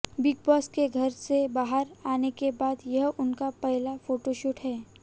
big boss के घर से बाहर आने के बाद यह उनका पहला फोटोशूट है